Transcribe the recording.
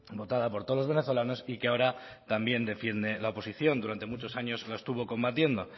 votada por todos los venezolanos y que ahora también defiende la oposición durante muchos años lo estuvo combatiendo